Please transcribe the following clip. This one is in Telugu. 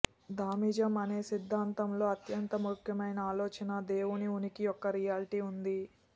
థామిజం అనే సిద్ధాంతం లో అత్యంత ముఖ్యమైన ఆలోచన దేవుని ఉనికి యొక్క రియాలిటీ ఉంది